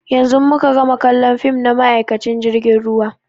Yanzun muka gama kallon fim na ma'aikacin jirgin ruwa.